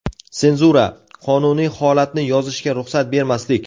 Senzura - qonuniy holatni yozishga ruxsat bermaslik.